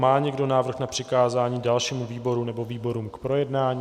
Má někdo návrh na přikázání dalšímu výboru nebo výborům k projednání?